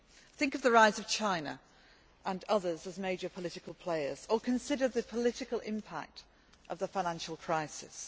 Think of the rise of China and others as major political players, or consider the political impact of the financial crisis.